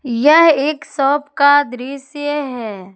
यह एक शॉप का दृश्य है।